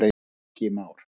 Ingi Már.